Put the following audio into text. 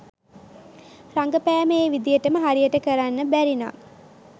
රඟපෑම ඒ විදියට හරියට කරන්න බැරි නම්